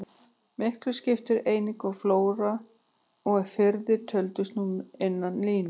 Miklu skipti einnig að flóar og firðir töldust nú innan línu.